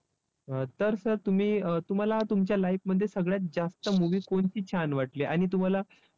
अं तर sir तुम्ही तुम्हाला तुमच्या life मध्ये सगळ्यात जास्त movie कोणती छान वाटली आणि तुम्हाला